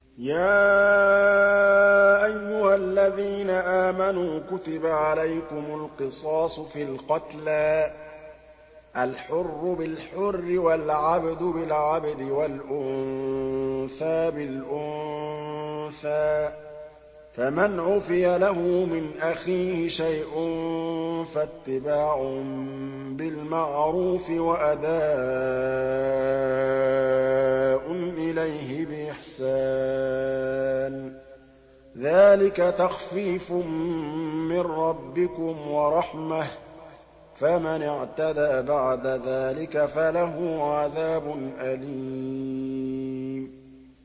يَا أَيُّهَا الَّذِينَ آمَنُوا كُتِبَ عَلَيْكُمُ الْقِصَاصُ فِي الْقَتْلَى ۖ الْحُرُّ بِالْحُرِّ وَالْعَبْدُ بِالْعَبْدِ وَالْأُنثَىٰ بِالْأُنثَىٰ ۚ فَمَنْ عُفِيَ لَهُ مِنْ أَخِيهِ شَيْءٌ فَاتِّبَاعٌ بِالْمَعْرُوفِ وَأَدَاءٌ إِلَيْهِ بِإِحْسَانٍ ۗ ذَٰلِكَ تَخْفِيفٌ مِّن رَّبِّكُمْ وَرَحْمَةٌ ۗ فَمَنِ اعْتَدَىٰ بَعْدَ ذَٰلِكَ فَلَهُ عَذَابٌ أَلِيمٌ